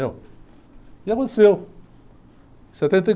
E aconteceu. Setenta e ...